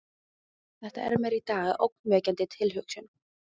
Þetta er mér í dag ógnvekjandi tilhugsun.